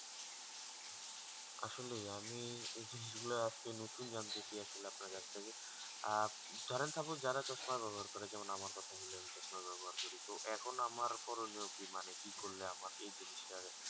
আসলে আমি এই জিনিস গুলা আজকে নতুন জানতেছি আসলে আপনার কাছ থেকে আর ধরেন expose যারা চশমা ব্যবহার করে যেমন আমার কথায় বলি আমি চশমা ব্যবহার করি তো এখন আমার করণীয় কি মানে কি করলে আমার এই জিনিস তা আর